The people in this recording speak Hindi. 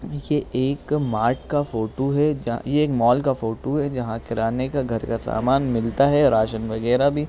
ये एक मार्ट का फोटो है जो ये एक मॉल का फोटो है जहाँ किराने के घर का सामान मिलता है और राशन वगेरा भी।